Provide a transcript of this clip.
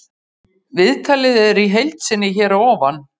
Viðtalið er í heild sinni hér að ofan.